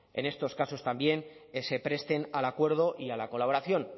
en estos casos también se presten al acuerdo y a la colaboración